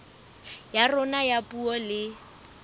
ya rona ya puo le